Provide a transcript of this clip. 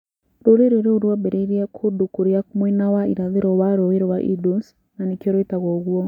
rũrĩrĩ rũu rwaambĩrĩirie kũndũ kũrĩa mwena wa irathĩro wa Rũũĩ rwa Indus, na nĩkĩo rwĩtagwo ũguo.